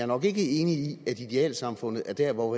nok ikke enig i at idealsamfundet er der hvor